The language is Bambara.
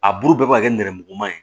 A bulu bɛɛ bɛ ka kɛ nɛrɛmuguma ye